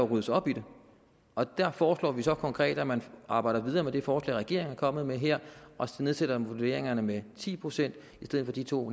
ryddes op i det og der foreslår vi så konkret at man arbejder videre med det forslag regeringen er kommet med her og nedsætter vurderingerne med ti procent i stedet for de to